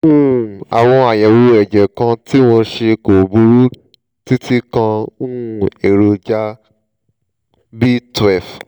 um àwọn àyẹ̀wò ẹ̀jẹ̀ kan tí mo ṣe kò burú títí kan um èròjà b twelve